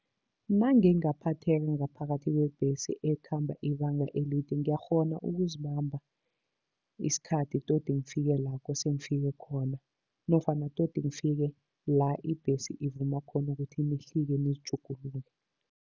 Nangingaphatheka ngaphakathi kwebhesi ekhamba ibanga elide, ngiyakghona ukuzibamba isikhathi todi ngifike la kose ngifike khona nofana todi ngifike la ibhesi ivumba khona ukuthi nihlike nizitjhugulule.